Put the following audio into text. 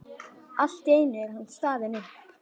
Allt í einu er hann staðinn upp.